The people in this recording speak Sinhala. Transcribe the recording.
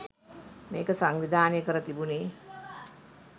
මේක සංවිධානය කර තිබුණේ.